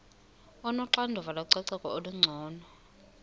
onoxanduva lococeko olungcono